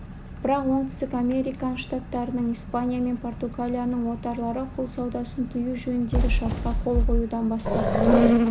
бірақ оңтүстік американ штаттарының испания мен португалияның отарлары құл саудасын тыю жөніндегі шартқа қол қоюдан бас тартты